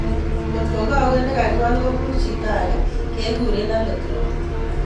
Ngotko kawet ne kakiwal ko punu chito agei kekure allograft.